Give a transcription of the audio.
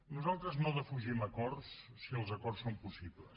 nosaltres no defugim acords si els acords són possibles